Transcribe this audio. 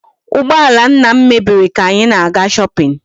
Ụgbọala nna m mebiri ka anyị na-aga shopping.